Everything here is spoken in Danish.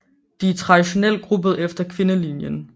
De er traditionelt gruppet efter kvindelinjen